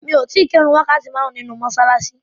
Mo ti kí ìrun wákàtí márùn-ún nínu mọ́ṣáláṣí.